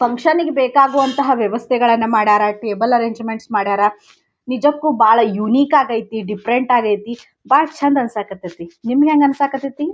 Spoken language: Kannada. ಫಂಕ್ಷನಿಗ್ ಬೇಕಾಗುವಂತಹ ವ್ಯವಸ್ಥೆಗಳನ್ನುಮಾಡರ ಟೇಬಲ್ ಅರೆಂಜಮೆಂಟ್ಸ್ ಮಾಡ್ಯಾರ ನಿಜಕ್ಕೂ ಬಾಳ್ ಯುನಿಕ್ ಆಗೈತಿ ಡಿಫರೆಂಟ್ ಆಗೇತಿ ಬಾಳ್ ಚೆಂದ್ ಅನ್ಸಾಕ್ ಹತ್ತೈತಿ ನಿಮ್ಗ್ ಹ್ಯಾಂಗ ಅನ್ಸಾಕ್ ಹತೈತಿ.